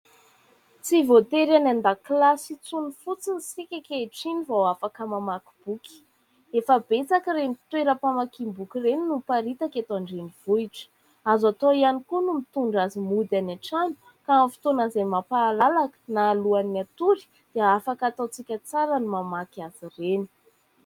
Tsy voatery any an-dakilasy intsony fotsiny isika ankehitriny vao afaka mamaky boky. Efa betsaka ireny toeram-pamakiam-boky ireny no miparitaka eto andrenivohitra. Azo atao ihany koa no mitondra azy mody any an-trano ka amin'ny fotoana izay mampahalalaka na alohan'ny atory dia afaka ataontsika tsara ny mamaky azy ireny.